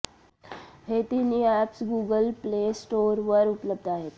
हे तीनही apps Google Play स्टोअरवर उपलब्ध आहेत